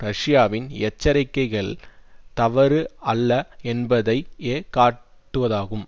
ரஷ்யாவின் எச்சரிக்கைகள் தவறு அல்ல என்பதையே காட்டுவதாகும்